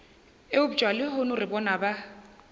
eupša lehono re bona ba